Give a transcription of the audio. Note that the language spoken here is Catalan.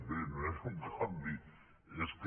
bé no és un canvi és que